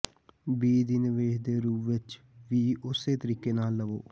ਬੀਜ ਦੀ ਨਿਵੇਸ਼ ਦੇ ਰੂਪ ਵਿੱਚ ਵੀ ਉਸੇ ਤਰੀਕੇ ਨਾਲ ਲਵੋ